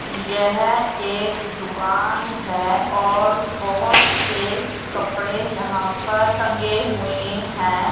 यह एक दुकान है और बोहोत से कपड़े यहां पर टंगे हुए है।